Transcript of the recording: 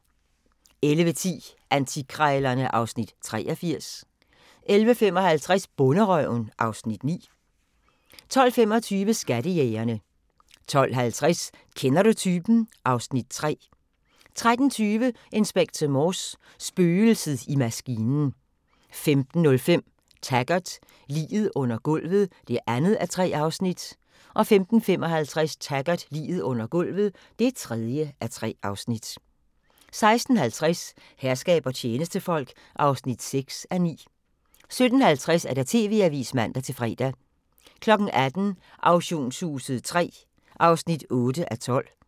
11:10: Antikkrejlerne (Afs. 83) 11:55: Bonderøven (Afs. 9) 12:25: Skattejægerne 12:50: Kender du typen? (Afs. 3) 13:20: Inspector Morse: Spøgelset i maskinen 15:05: Taggart: Liget under gulvet (2:3) 15:55: Taggart: Liget under gulvet (3:3) 16:50: Herskab og tjenestefolk (6:9) 17:50: TV-avisen (man-fre) 18:00: Auktionshuset III (8:12)